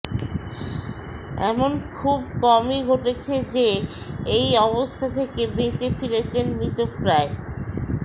এমন খুব কমই ঘটেছে যে এই অবস্থা থেকে বেঁচে ফিরেছেন মৃতপ্রায়